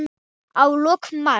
Í lok mars